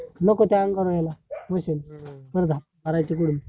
नको machine time घालून राहिला machine बर का आता ह्याच्या पुढे?